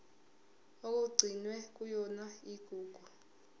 okugcinwe kuyona igugu